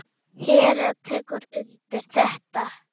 Hera tekur undir þetta.